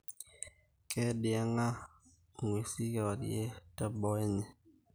Keyengiyenga inguesin kewarie te boo enye